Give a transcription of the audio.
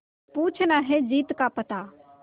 पूछना है जीत का पता